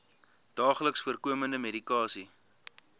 daagliks voorkomende medikasie